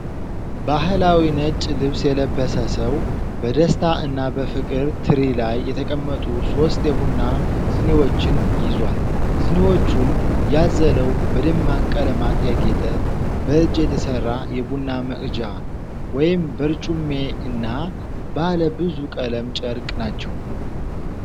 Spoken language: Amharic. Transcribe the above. ባሕላዊ ነጭ ልብስ የለበሰ ሰው በደስታ እና በፍቅር ትሪ ላይ የተቀመጡ ሦስት የቡና ሲኒዎችን ይዟል። ሲኒዎቹን ያዘለው፣ በደማቅ ቀለማት ያጌጠ፣ በእጅ የተሰራ የቡና መቅጃ (በርጩሜ) እና ባለ ብዙ ቀለም ጨርቅ ናቸው።